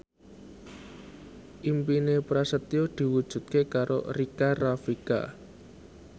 impine Prasetyo diwujudke karo Rika Rafika